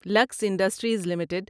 looks industries limited